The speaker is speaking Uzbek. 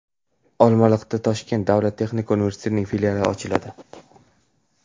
Olmaliqda Toshkent davlat texnika universitetining filiali ochiladi.